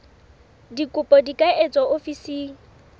dikopo di ka etswa ofising